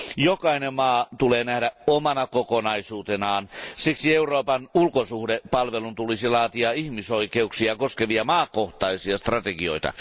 Jokainen maa tulee nähdä omana kokonaisuutenaan, siksi Euroopan ulkosuhdepalvelun tulisi laatia ihmisoikeuksia koskevia maakohtaisia strategioita.